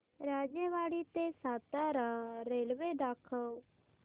राजेवाडी ते सातारा रेल्वे दाखव